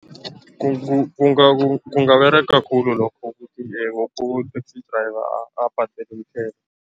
Kungaberega khulu lokho ukuthi woke u-taxi driver abhadele umthelo.